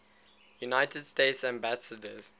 united states ambassadors